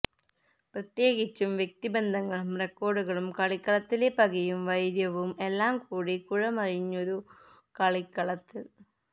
പ്രത്യേകിച്ചും വ്യക്തിബന്ധങ്ങളും റിക്കോര്ഡുകളും കളിക്കളത്തിലെ പകയും വൈര്യവും എല്ലാം കൂടി കുഴമറിഞ്ഞൊരു കളിക്കളത്തില്